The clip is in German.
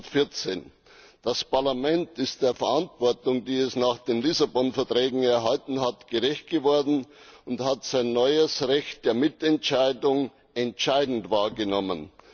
2014. Das Parlament ist der Verantwortung, die es nach den Lissabon Verträgen erhalten hat, gerecht geworden und hat sein neues Recht der Mitentscheidung entscheidend wahrgenommen.